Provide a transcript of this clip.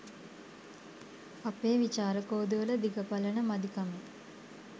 අපේ විචාර කෝදුවල දිග පළල මදිකමෙන්